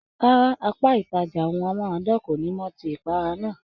Rárá, apá ìtàjà ohùn amárádán kọ ní mò tí rí ipara náà.